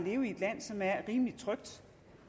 leve i et land som er rimelig trygt